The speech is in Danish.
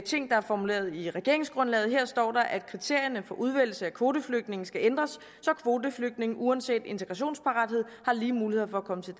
ting der er formuleret i regeringsgrundlaget og her står der at kriterierne for udvælgelse af kvoteflygtninge skal ændres så kvoteflygtninge uanset integrationsparathed har lige mulighed for at komme til